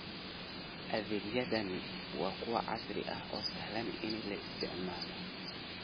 Adeegyadani waa kuwo casri ah oo sahlan in la isticmaalo.